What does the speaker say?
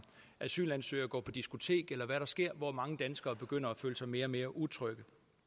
asylansøgere går på diskotek eller om hvad der sker hvor mange danskere begynder at føle sig mere og mere utrygge